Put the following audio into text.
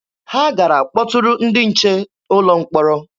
Ha gara kpọtụrụ ndị nche ụlọ mkpọrọ.